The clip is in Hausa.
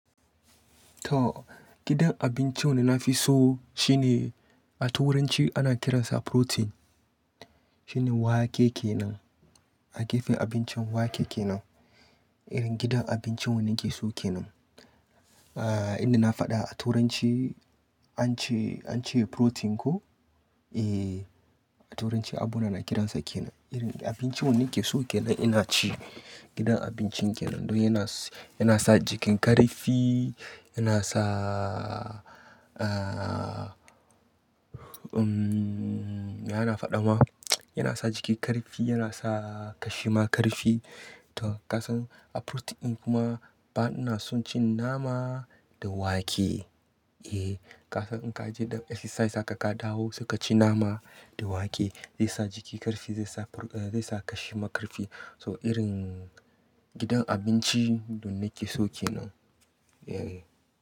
To gidan abinci wanda na fi so shine a turanci ana kiransa protein. Shine wake kenan, a gefen abincin wake kenan. Irin gidan abinci wanda nake so kenan. Ah inda na faɗa a turanci an ce, an ce protein ko? Eh, a turanci abuna na kiransa kenan. Irin abinci wanda nake so kenan ina ci gidan abinci kenan. Don yana, yana sa jikin ƙarfi, yana sa ah umm yana faɗama, yana sa jiki ƙarfi, yana sa ƙashima ƙarfi. To ka san a protein kuma ba ina son cin nama da wake. Eh, ka san in ka je don exercise haka ka dawo, suka ci nama da wake zai sa jiki ƙarfi, zai sa pro-- eh zai sa ƙashima ƙarfi. So irin gidan abinci don nake so kenan. Eh.